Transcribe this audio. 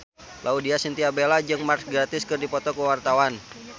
Laudya Chintya Bella jeung Mark Gatiss keur dipoto ku wartawan